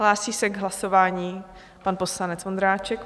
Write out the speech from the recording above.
Hlásí se k hlasování pan poslanec Vondráček.